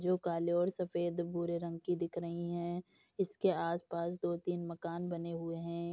जो काले और सफेद भूरे रंग की दिख रही हैं। इसके आसपास दो-तीन मकान बने हुए हैं।